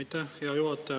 Aitäh, hea juhataja!